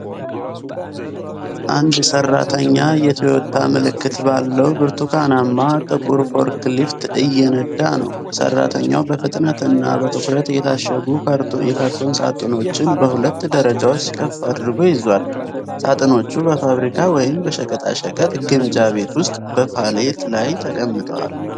አንድ ሠራተኛ የቶዮታ ምልክት ባለው ብርቱካናማና ጥቁር ፎርክሊፍት እየነዳ ነው። ሠራተኛው በፍጥነትና በትኩረት የታሸጉ የካርቶን ሳጥኖችን በሁለት ደረጃዎች ከፍ አድርጎ ይዟል። ሳጥኖቹ በፋብሪካ ወይም በሸቀጣሸቀጥ ግምጃ ቤት ውስጥ በፓሌት ላይ ተቀምጠዋል።